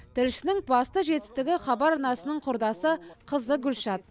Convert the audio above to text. тілшінің басты жетістігі хабар арнасының құрдасы қызы гүлшат